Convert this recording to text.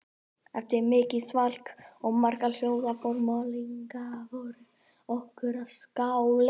Eftir mikið svalk og marga hljóða formælingu bar okkur að skála